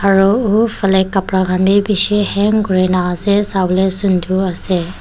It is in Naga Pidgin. aru uh fale kapra khan bhi bishi Hang kuri na ase sabole sundor ase.